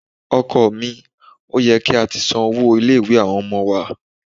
Ọkọ mi, ó yẹ kí a ti san owó ilé-ìwé àwọn ọmọ wa.